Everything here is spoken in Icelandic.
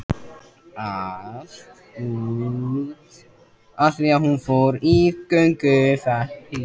Allt út af því að hún fór í göngu